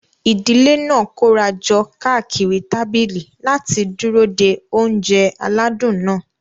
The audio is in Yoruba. Ìdílé náà kóra jọ káàkiri tábìlì láti dúró de oúnjẹ aládùn náà.